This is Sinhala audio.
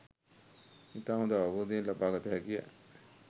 ඉතා හොඳ අවබෝධයක් ලබා ගත හැකිය.